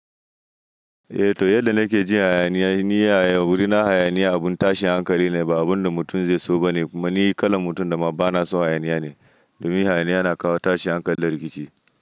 Eh toh, yadda na ke jin hayaniya, ni a wurina hayaniya abin tashin hankali ne, ba abun da mutum zai so ba ne. Kuma ni kalan mutum da ma ba na son hayaniya ne. Domin hayaniya na kawo tashin hankalin rikici.